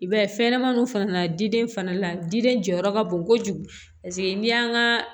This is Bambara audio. I b'a ye fɛnɲɛnamaninw fana diden fana la diden jɔyɔrɔ ka bon kojugu paseke n'i y'an ka